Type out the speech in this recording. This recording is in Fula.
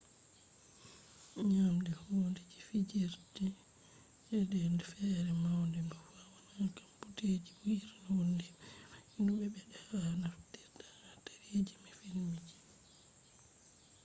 nyaɗɗi hunde ji fijir je de fewre mai be vo’enan ha computeje bo irin hundeji mai ndu ɓedde ha be naftirta ha teleji be filmji